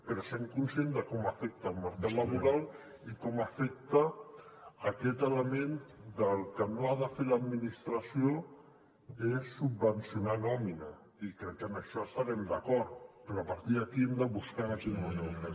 però sent conscients de com afecta el mercat laboral i com afecta aquest element que el que no ha de fer l’administració és subvencionar nòmina i crec que en això hi devem estar d’acord però a partir d’aquí hem de buscar de quina manera ho fem